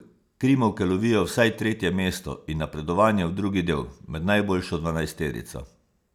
Krimovke lovijo vsaj tretje mesto in napredovanje v drugi del, med najboljšo dvanajsterico.